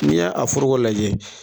Ni ye a foroko lajɛ